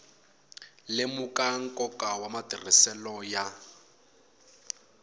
lemuka nkoka wa matirhiselo ya